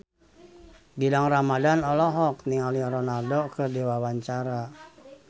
Gilang Ramadan olohok ningali Ronaldo keur diwawancara